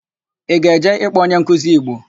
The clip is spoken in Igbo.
Ị ga-eje ịkpọ onyenkuzi Igbo?